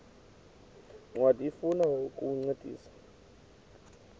ncwadi ifuna ukukuncedisa